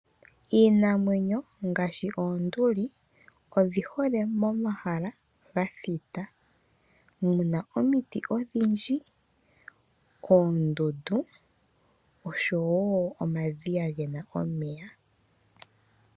Iinamwenyo ngaashi oonduli odhi hole momahala ga thita. Muna omiti odhindji, oondundu osho woo omadhiya ge na omeya.